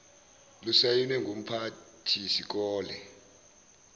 lusayinwe ngumphathi sikole